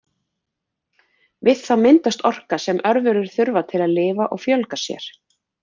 Við það myndast orka sem örverur þurfa til að lifa og fjölga sér.